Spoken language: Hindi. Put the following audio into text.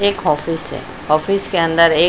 एक ऑफिस है ऑफिस के अंदर एक--